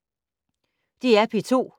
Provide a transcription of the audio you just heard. DR P2